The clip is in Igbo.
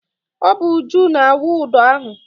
Ọ bụ Uju na-awụ ụdọ ahụ.